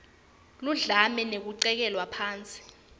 ludlame nekucekelwa phansi